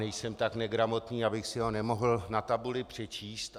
Nejsem tak negramotný, abych si ho nemohl na tabuli přečíst.